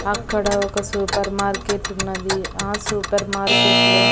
అక్కడ ఒక సూపర్ మార్కెటున్నది ఆ సూపర్ మార్కెట్లో --